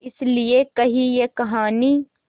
इस लिये कही ये कहानी